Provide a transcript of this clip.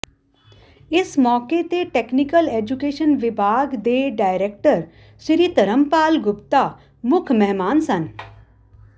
ਇਸ ਮੌਕੇ ਤੇ ਟੈਕਨੀਕਲ ਐਜੁਕੇਸ਼ਨ ਵਿਭਾਗ ਦੇ ਡਾਇਰੇਕਟਰ ਸ਼੍ਰੀ ਧਰਮਪਾਲ ਗੁਪਤਾ ਮੁੱਖ ਮਹਿਮਾਨ ਸਨ